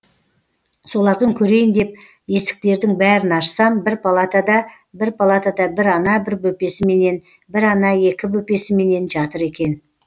солардың көрейін деп есіктердің бәрін ашсам бір палатада бір палатада бір ана бір бөпесіменен бір ана екі бөпесіменен жатыр екен